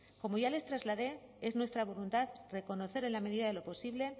como ya les trasladé es nuestra voluntad reconocer en la medida de lo posible